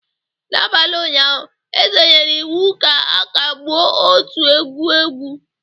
N'abalị ụnyaahụ, eze nyere iwu ka a kagbuo otu egwu egwu